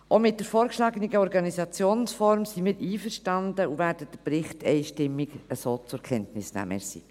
Auch mit der vorgeschlagenen Organisationsform sind wir einverstanden und werden den Bericht einstimmig so zur Kenntnis nehmen.